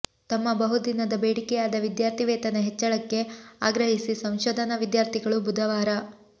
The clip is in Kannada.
ತಮ್ಮ ಬಹುದಿನದ ಬೇಡಿಕೆಯಾದ ವಿದ್ಯಾರ್ಥಿ ವೇತನ ಹೆಚ್ಚಳಕ್ಕೆ ಆಗ್ರಹಿಸಿ ಸಂಶೋಧನಾ ವಿದ್ಯಾರ್ಥಿಗಳು ಬುಧವಾರ